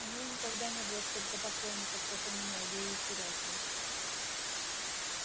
у неё никогда не было столько поклонников как у меня ей и терять нечего